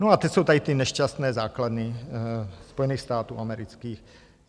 No a teď jsou tady ty nešťastné základny Spojených států amerických.